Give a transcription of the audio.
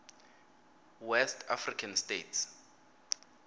west african states